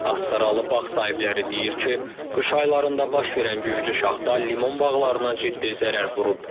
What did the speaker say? Astaraılı bağ sahibləri deyir ki, qış aylarında baş verən güclü şaxta limon bağlarına ciddi zərər vurub.